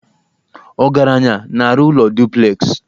Ọgaranya na-arụ ụlọ duplexị